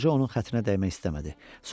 Qoca onun xətrinə dəymək istəmədi.